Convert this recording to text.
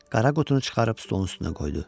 Qara qutunu çıxarıb stolun üstünə qoydu.